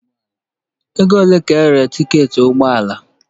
Ego ole ka erere tiketi ụgbọ ala?